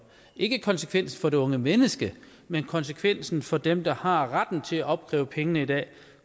ikke konsekvensen for det unge menneske men konsekvensen for dem der har retten til at opkræve pengene i dag